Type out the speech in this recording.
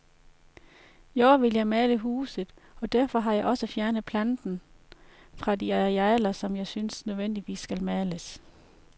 I år vil jeg male huset, og derfor har jeg også fjernet planten fra de arealer, som jeg synes nødvendigvis skal males.